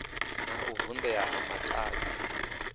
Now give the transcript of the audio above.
na u vundea ha matavhi